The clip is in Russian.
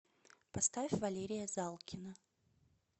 поставь валерия залкина